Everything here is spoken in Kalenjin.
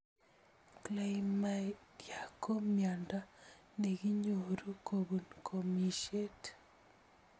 Chlamydyia ko miondo ne kinyoruu kopun komishet.